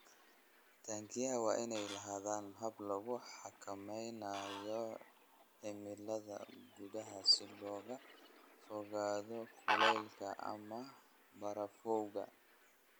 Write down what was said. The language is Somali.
Taangiyada waa inay lahaadaan habab lagu xakameynayo cimilada gudaha si looga fogaado kulaylka ama barafowga.